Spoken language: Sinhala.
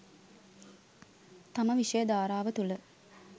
තම විෂය ධාරාව තුළ